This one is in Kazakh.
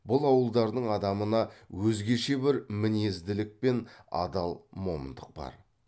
бұл ауылдардың адамына өзгеше бір мінезділік пен адал момындық бар